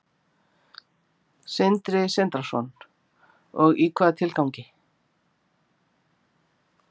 Sindri Sindrason: Og í hvaða tilgangi?